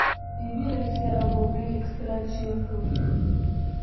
E be like sey I go bring extra chair for you.